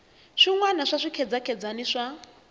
swin wana swa swikhedzakhedzani swa